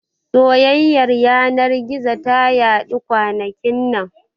Soyayyar yanar gizo ta yaɗu kwanakin nan